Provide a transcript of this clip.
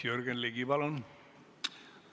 Jürgen Ligi, palun!